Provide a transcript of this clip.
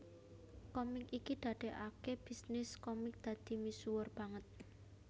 Komik iki ndadekake bisnis komik dadi misuwur banget